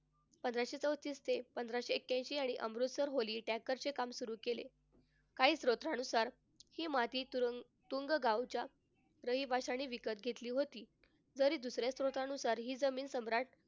पंधराशे चौतीस ते पंधराशे एक्याऐंशी आणि अमृतसर holy चे काम सुरु केले. काही सूत्रांनुसार हि मातीतून तुंग गावच्या रहिवाशांनी विकत घेतली होती. तरी दुसऱ्या सूत्रानुसार हि जमीन सम्राट,